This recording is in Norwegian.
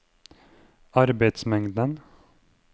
arbeidsmengden